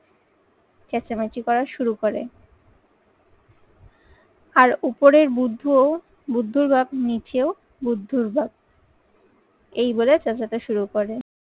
চেঁচামেচি করা শুরু করে। আর উপরের বুদ্ধ, বুদ্ধর বাপ নিচেও বুদ্ধর বাপ। এই বলে চ্যাচাতে শুরু করে।